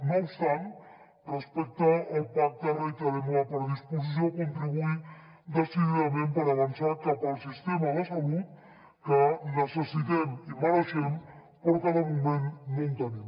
no obstant respecte al pacte reiterem la predisposició a contribuir decididament per avançar cap al sistema de salut que necessitem i mereixem però que de moment no en tenim